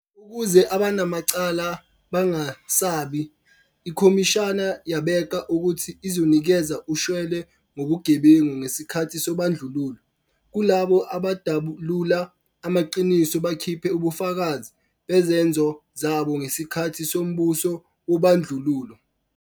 Ukuze abanamacala bangesabi, iKhomishana yabeka ukuthi izonikeza ushwele ngobugebengu ngesikhathi sobandlululo kulabo abadalula amaqiniso bakhiphe ubufakazi bezenzo zabo ngesikhathi sombuso wobandlululo.